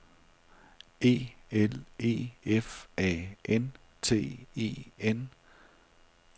E L E F A N T E N